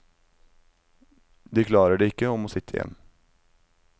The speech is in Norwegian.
De klarer det ikke og må sitte igjen.